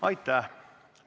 Aitäh!